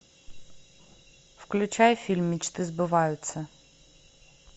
включай фильм мечты сбываются